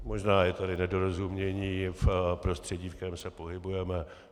Možná je tady nedorozumění v prostředí, ve kterém se pohybujeme.